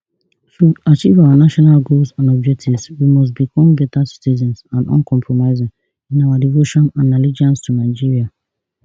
to achieve our national goals and objectives we must become better citizens and uncompromising in our devotion and allegiance to nigeria